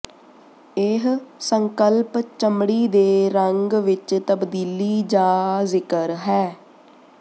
ਇਹ ਸੰਕਲਪ ਚਮੜੀ ਦੇ ਰੰਗ ਵਿਚ ਤਬਦੀਲੀ ਦਾ ਜ਼ਿਕਰ ਹੈ